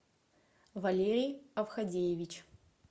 валерий авхадеевич